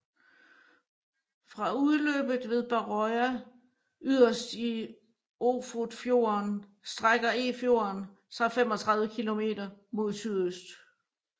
Fra udløpet ved Barøya yderst i Ofotfjorden strækker Efjorden sig 35 km mod sydøst